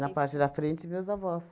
parte da frente, meus avós.